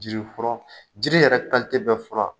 Jiri furɔ jiri yɛrɛ bɛɛ fura